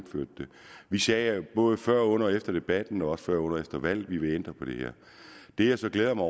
vi sagde både før under og efter debatten og også før under og efter valget at vi ville ændre på det her det jeg så glæder mig